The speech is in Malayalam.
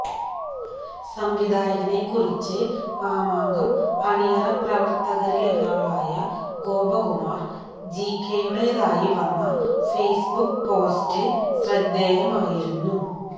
സംവിധായകനെക്കുറിച്ച് മാമാങ്കം അണിയറ പ്രവര്ത്തകരിലൊരാളായ ഗോപകുമാര് ജികെയുടെതായി വന്ന ഫേസ്ബുക്ക് പോസ്റ്റ് ശ്രദ്ധേയമായി മാറിയിരുന്നു